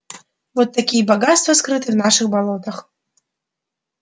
вот такие богатства скрыты в наших болотах